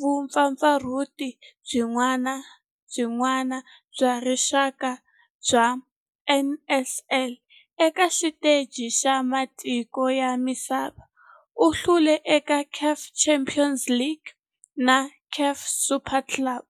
vumpfampfarhuti byin'we bya rixaka bya NSL. Eka xiteji xa matiko ya misava, u hlule eka CAF Champions League na CAF Super Cup.